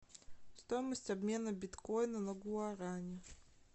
стоимость обмена биткоина на гуарани